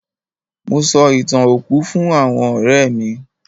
Mo sọ ì̀tàn òkú fún àwọn ọ̀rẹ́ mí.